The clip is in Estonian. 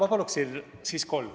Ma paluksin siis kolm.